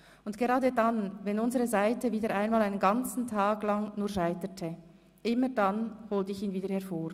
Und gerade dann, wenn unsere Seite wieder einmal einen ganzen langen Tag nur scheiterte, immer dann holte ich ihn hervor.